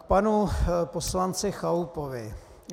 K panu poslanci Chalupovi.